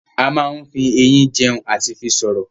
A máa n fí ẹyin jẹun àti fi sọ̀rọ̀